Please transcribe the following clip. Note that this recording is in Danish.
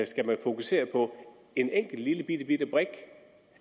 skal fokusere på en enkelt lillebitte brik